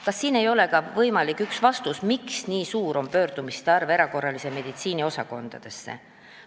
Kas siin ei ole ka üks võimalik vastus küsimusele, miks nii palju pöördutakse erakorralise meditsiini osakondadesse?